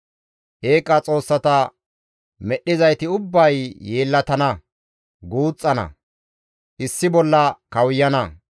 Eeqa xoossata medhdhizayti ubbay yeellatana, guuxxana issi bolla kawuyana.